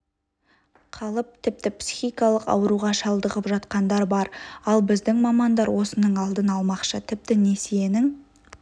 қалып тіпті психикалық ауруға шалдығып жатқандар бар ал біздің мамандар осының алдын алмақшы тіпті несиенің